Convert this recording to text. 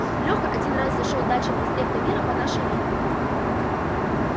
леха один раз зашёл дальше проспекта мира по нашей линии